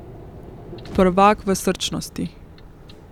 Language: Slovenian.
Prvak v srčnosti.